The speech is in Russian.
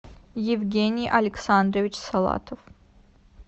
евгений александрович салатов